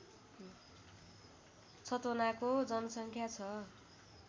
छतोनाको जनसङ्ख्या छ